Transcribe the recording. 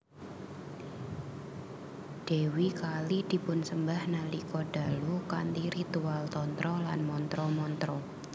Dèwi Kali dipunsembah nalika dalu kanthi ritual Tantra lan mantra mantra